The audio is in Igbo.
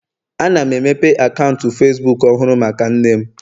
Ana m emepe akaụntụ Facibuku ọhụrụ maka nne m